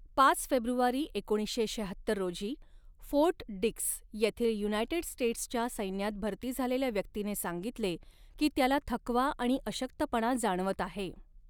पाच फेब्रुवारी एकोणीसशे शहात्तर रोजी, फोर्ट डिक्स येथील युनायटेड स्टेट्सच्या सैन्यात भरती झालेल्या व्यक्तीने सांगितले की त्याला थकवा आणि अशक्तपणा जाणवत आहे.